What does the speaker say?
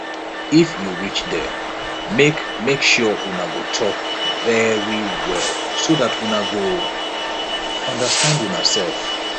if you reach there make make sure una go talk very well so dat una go understand una self